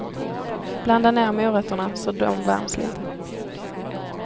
Blanda ner morötterna, så de värms lite.